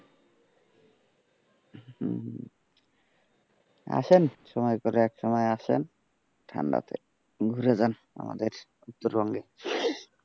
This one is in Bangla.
আসেন সময় করে এক সময় আসেন, ঠাণ্ডাতে ঘুরে যান আমাদের উত্তরবঙ্গে।